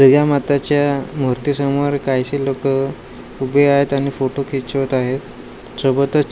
दुर्गा मताच्या मूर्ती समोर काहीशी लोकं उभे आहेत आणि फोटो खिचवत आहेत सोबतच--